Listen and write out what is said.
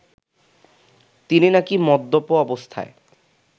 তিনি নাকি মদ্যপ অবস্থায়